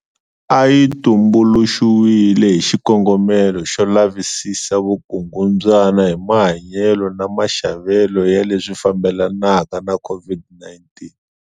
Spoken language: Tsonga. A yi tumbuluxiwile hi xikongomelo xo lavisisa vukungundzwana hi mayelana na maxavelo ya leswi fambelanaka na COVID-19.